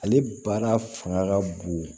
Ale baara fanga ka bon